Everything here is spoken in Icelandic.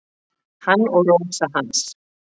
Hann og Rósa hans.